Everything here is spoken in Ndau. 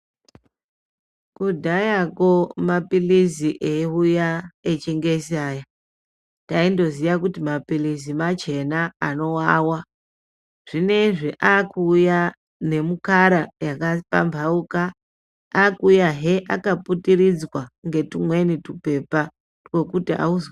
Kudhayako maphilizi eiuya echingezi aya taindoziya kuti maphilizi machena, anovava. zvinezvi aakuuya nemikara yakapambauka. Aakuuyahe akaputiridzwa ngetumweni tupepa twekuti auz...